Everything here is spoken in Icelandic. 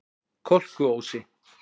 Kolkuósi